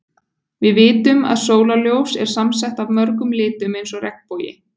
Við vitum að sólarljós er samsett af mörgum litum eins og regnbogi.